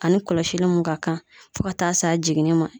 Ani kɔlɔsili mun ka kan fo ka taa s'a jiginni ma.